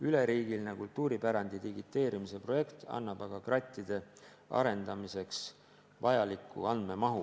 Üleriigiline kultuuripärandi digiteerimise projekt annab aga krattide arendamiseks vajaliku andmemahu.